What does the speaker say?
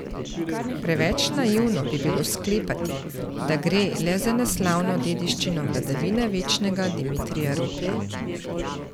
Preveč naivno bi bilo sklepati, da gre le za neslavno dediščino vladavine večnega Dimitrija Rupla.